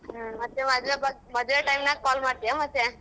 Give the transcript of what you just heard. ಮದ್ವೆ ಬಗ್, ಮದ್ವೆ time ನಾಗ್ call ಮಾಡ್ತೀಯಾ ಮತ್ತೆ?